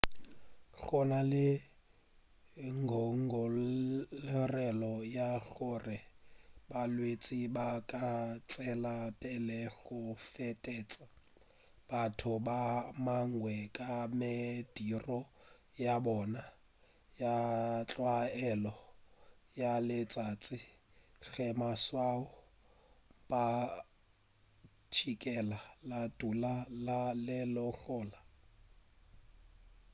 go na le ngongorego ya gore balwetši ba ka tšwela pele go fetetša batho ba bangwe ka mediro ya bona ya tlwaelo ya letšatši ge maswao a mpšhikela a ka dula a le gona